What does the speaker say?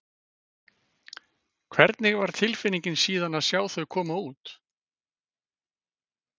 Hvernig var tilfinningin síðan að sjá þau koma út?